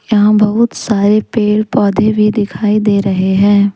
यहाँ बहुत सारे पेड़ पौधे भी दिखाई दे रहे हैं।